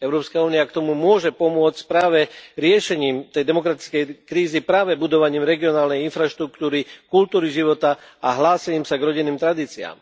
Európska únia k tomu môže pomôcť práve riešením tej demokratickej krízy práve budovaním regionálnej infraštruktúry, kultúry života a hlásením sa k rodinným tradíciám.